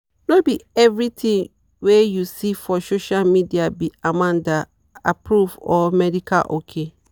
no be everything we you see for social media be amanda-approved or medical ok.